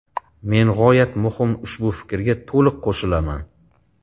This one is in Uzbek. Men g‘oyat muhim ushbu fikrga to‘liq qo‘shilaman.